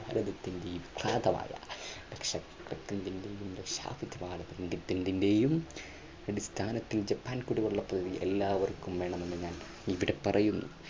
അടിസ്ഥാനത്തിൽ ജപ്പാൻ കുടിവെള്ള പദ്ധതി എല്ലാവർക്കും വേണമെന്ന് ഞാൻ ഇവിടെ പറയുന്നു.